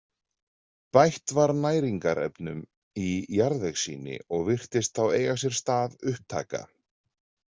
Bætt var næringarefnum í jarðvegssýni og virtist þá eiga sér stað upptaka.